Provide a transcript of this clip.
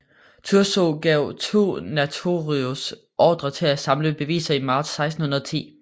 Thurzó gav 2 notarius ordrer til at samle beviser i marts 1610